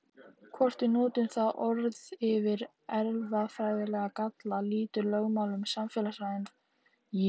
Hvort við notum það orð yfir erfðafræðilega galla, lýtur lögmálum samfélagsins fremur en líffræðinnar.